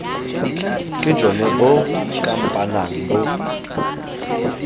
ke jone bo kampanang bo